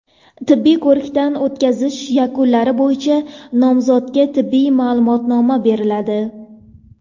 Tibbiy ko‘rikdan o‘tkazish yakunlari bo‘yicha nomzodga tibbiy ma’lumotnoma beriladi.